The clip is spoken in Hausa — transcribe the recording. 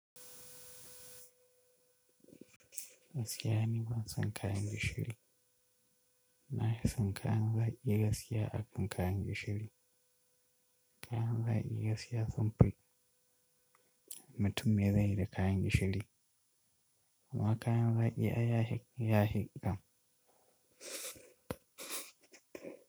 Gaskiya ni ban son kayan gishiri. Na fison kayan zaƙi gaskiya a kan kayan gishiri. Kayan zaki Gaskiya sunfi mutum me zai yi da kayan gishiri. Amma kayan zaki ai ya fi, yaye.